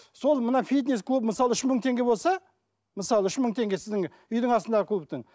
сол мына фитнес клуб мысалы үш мың теңге болса мысалы үш мың теңге сіздің үйдің астындағы клубтың